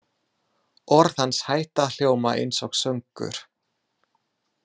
Orð hans hætta að hljóma einsog söngur.